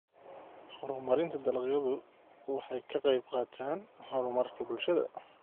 Horumarinta dalagyadu waxay ka qaybqaataan horumarka bulshada.